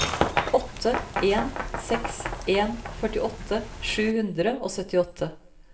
åtte en seks en førtiåtte sju hundre og syttiåtte